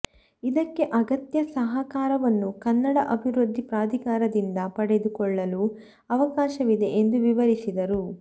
ಇದಕ್ಕೆ ಅಗತ್ಯ ಸಹಕಾರವನ್ನು ಕನ್ನಡ ಅಭಿವೃದ್ಧಿ ಪ್ರಾಧಿಕಾರದಿಂದ ಪಡೆದು ಕೊಳ್ಳಲು ಅವಕಾಶವಿದೆ ಎಂದು ವಿವರಿಸಿದರು